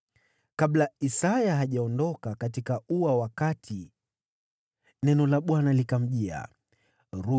Kabla Isaya hajaondoka katika ua wa kati, neno la Bwana likamjia, akaambiwa: